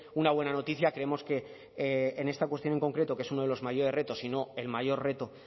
una buena noticia creemos que en esta cuestión en concreto que es uno de los mayores retos y no el mayor reto